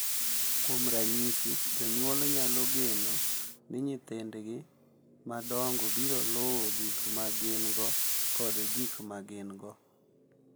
Kuom ranyisi, jonyuol nyalo geno ni nyithindgi madongo biro luwo gik ma gin-go kod gik ma gin-go,